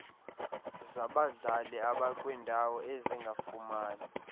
zabadlali abakwindawo ezingafumani